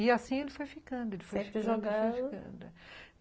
E assim ele foi ficando, ele foi ficando